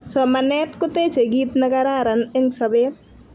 Somanet kotechei kit ne kararan eng sopet